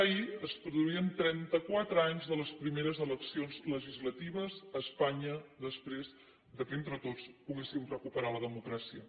ahir es produïen trenta quatre anys de les primeres eleccions legislatives a espanya després que entre tots poguéssim recuperar la democràcia